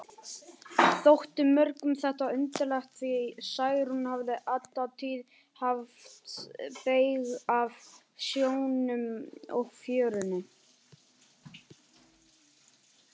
Þótti mörgum þetta undarlegt, því Særún hafði alla tíð haft beyg af sjónum og fjörunni.